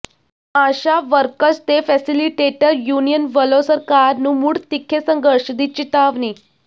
ਆਸ਼ਾ workers ਤੇ facilitator union ਵੱਲੋਂ ਸਰਕਾਰ ਨੂੰ ਮੁੜ ਤਿੱਖੇ ਸੰਘਰਸ਼ ਦੀ ਚਿਤਾਵਨੀ